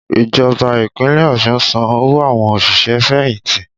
Ìjọba Ìpínlẹ̀ Ọ̀ṣun ń san owó àwọn òṣìṣẹ́-fẹ̀yìnti